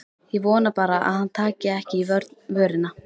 Ég vona bara að hann taki ekki í vörina.